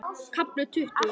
KAFLI TUTTUGU